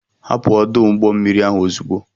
Hapụ ọdụ ụgbọ mmiri ahụ ozugbo!